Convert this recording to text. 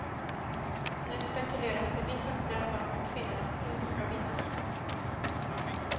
Nu spekuleras det vitt och brett om hur kvinnornas gunst ska vinnas.